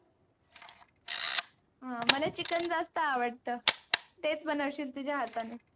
अं मला chicken जास्त आवडत. तेच बनवशील तुझ्या हाताने.